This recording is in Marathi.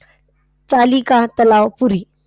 चालिका तलाव पुरी.